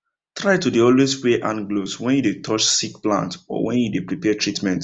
try to dey always wear hand gloves when you dey touch sick plants or when you dey prepare treatment